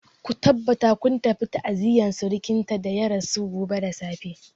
Ku tabbata kun tafi ta'aziyar surkinta da ya rasu gobe da safe.